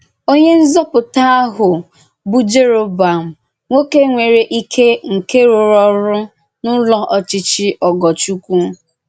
Onyé nzọ́pụ̀tà ahụ bụ Jèròbọ̀àm, nwóké nwerè íké nke rùrù orù n’Ụ́lọ̀ òchí̄chí̄ Ògòrchùkwù.